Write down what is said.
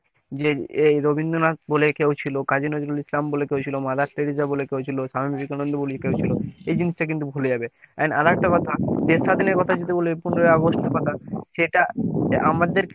যে এই রবীন্দ্রনাথ বলে কেউ ছিল, কাজী নজরুলই ইসলাম বলে কেউ ছিল, মাদার টেরেসা বলে কেউ ছিল, স্বামী বিবেকানন্দ বলে কেউ ছিল এই জিনিসটা কিন্তু ভুলে যাবে and আরো একটা কথা দেশ স্বাধীনের কথা যদি বলি পনেরোই আগস্টের কথা সেটা আমাদের